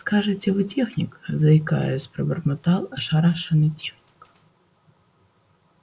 скажите вы техник заикаясь пробормотал ошарашенный техник